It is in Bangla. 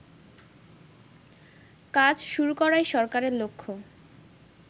কাজ শুরু করাই সরকারের লক্ষ্য